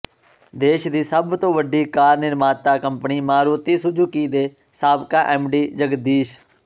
ਦੇਸ਼ ਦੀ ਸਭ ਤੋਂ ਵੱਡੀ ਕਾਰ ਨਿਰਮਾਤਾ ਕੰਪਨੀ ਮਾਰੂਤੀ ਸੂਜੂਕੀ ਦੇ ਸਾਬਕਾ ਐਮਡੀ ਜਗਦੀਸ਼